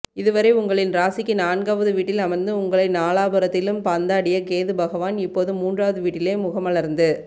இதுவரை உங்களின் ராசிக்கு நான்காவது வீட்டில் அமர்ந்து உங்களை நாலாபுறத்திலும் பந்தாடிய கேது பகவான் இப்போது மூன்றாவது வீட்டிலே முகமலர்ந்து